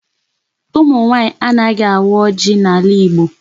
Ụmụ nwaanyị anaghị awa ọjị n'ala Igbo.